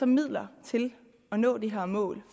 midler til at nå det her mål